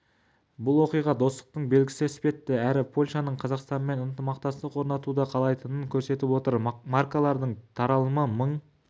бұл оқиға достықтың белгісі іспетті әрі польшаның қазақстанмен ынтымақтастық орнатуды қалайтынын көрсетіп отыр маркалардың таралымы мың